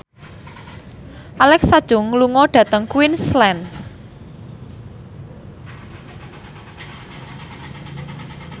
Alexa Chung lunga dhateng Queensland